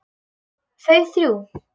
Þau þrjú.